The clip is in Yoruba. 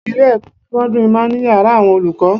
Ilé-ẹ̀kọ́ sẹ́kọ́ńdìrì máa ń ní yàrá àwọn olùkọ́